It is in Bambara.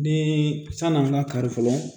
Ni san'an ga kari fɔlɔ